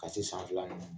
Ka se san fila ma